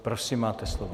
Prosím, máte slovo.